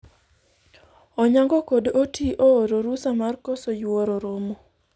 Onyango kod Oti ooro rusa mar koso yuoro romo